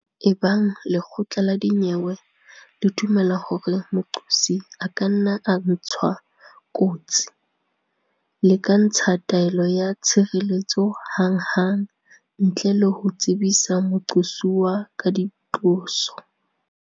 Ebang lekgotla la dinyewe le dumela hore moqosi a ka nna a ntshwa kotsi le ka ntsha taelo ya tshireletso hanghang ntle le ho tsebisa moqosuwa ka diqoso.